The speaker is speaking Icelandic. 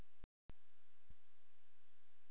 Hún kom út aftur hin ánægðasta.